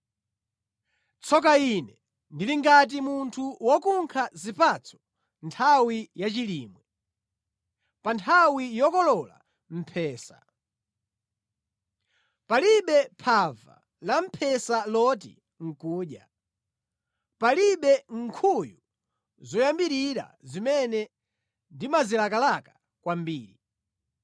Tsoka ine! Ndili ngati munthu wokunkha zipatso nthawi yachilimwe, pa nthawi yokolola mphesa; palibe phava lamphesa loti nʼkudya, palibe nkhuyu zoyambirira zimene ndimazilakalaka kwambiri.